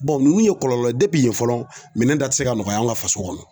ninnu ye kɔlɔlɔ ye fɔlɔ minɛn ta tɛ se ka nɔgɔya an ka faso kɔnɔ